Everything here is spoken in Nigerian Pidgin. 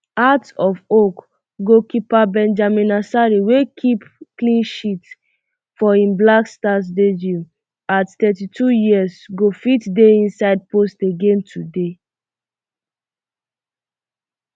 hearts of oak goalkeeper benjamin asare wey keep clean sheet for im blackstars debut at thirty-two years go fit dey inside post again today